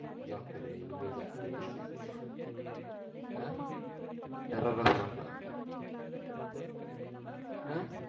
ஜாக்கிரதை இனிமேல் ஜாக்கிரதை ஆஹ் terror ஆ சொன்னாங்களா ஆஹ்